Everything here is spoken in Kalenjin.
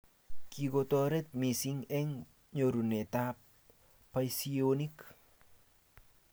Kikotorit misng eng nyorunet ab bosihionik